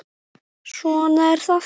Svona er það.